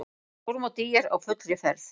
Stórmót ÍR á fullri ferð